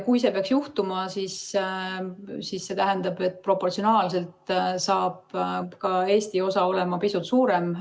Kui see peaks juhtuma, siis see tähendab, et proportsionaalselt saab ka Eesti osa olema pisut suurem.